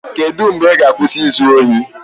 Kedu mgbe ị ga-akwụsị izu ohi?